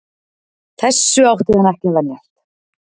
Þessu átti hann ekki að venjast.